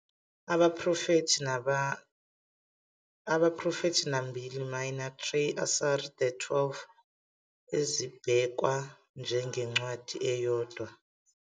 I abaProfethi Nambili Minor, "Trei Asar", "The Twelve, ezibhekwa njengencwadi eyodwa